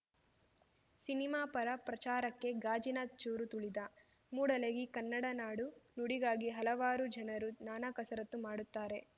cinema ಪರ ಪ್ರಚಾರಕ್ಕೆ ಗಾಜಿನ ಚೂರು ತುಳಿದ ಮೂಡಲಗಿ ಕನ್ನಡ ನಾಡು ನುಡಿಗಾಗಿ ಹಲವಾರು ಜನರು ನಾನಾ ಕಸರತ್ತು ಮಾಡುತ್ತಾರೆ